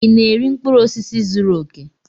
Ị na-eri mkpụrụ osisi zuru oke?